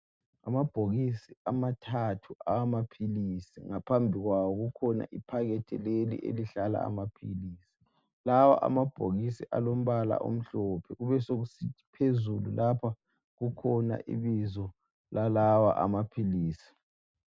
Amabhokisi amathathu awamaphilisi ngaphambi kwawo kukhona iphakethi leli elihlala amaphilisi, lawa amabhokisi alombala omhlophe kubesokusithi phezulu lapha kukhona ibizo lalawa amaphilisi.